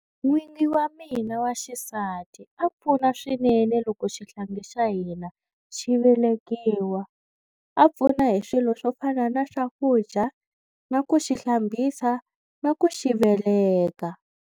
N'wingi wa mina wa xisati a pfuna swinene loko xihlangi xa hina xi velekiwa. A pfuna hi swilo swo fana na swakudya na ku xi hlambisa na ku xi veleka.